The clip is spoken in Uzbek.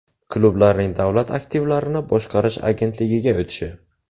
Klublarning Davlat aktivlarini boshqarish agentligiga o‘tishi?